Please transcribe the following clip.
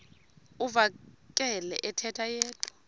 uvakele ethetha yedwa